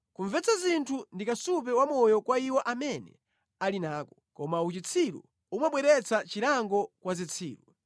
Kumvetsa zinthu ndi kasupe wa moyo kwa iwo amene ali nako, koma uchitsiru umabweretsa chilango kwa zitsiru.